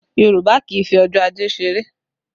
Yorùbá kì í fi ọjọ́ ajé ṣeré